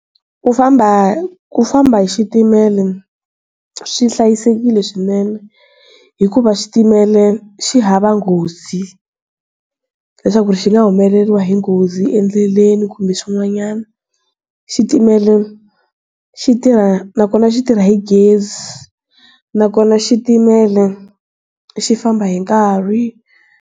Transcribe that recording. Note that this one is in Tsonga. Ku famba ku famba hi xitimela swi hlayisekile swinene hikuva xitimela xi hava nghozi leswaku xi nga humeleriwa hi nghozi endleleni kumbe swin'wanyana xitimela xi tirha nakona xi tirha hi gezi nakona xitimela xi famba hi nkarhi.